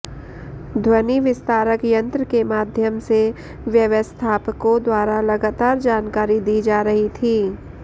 ध्वनि विस्तारक यंत्र के माध्यम से व्यवस्थापकों द्वारा लगातार जानकारी दी जा रही थी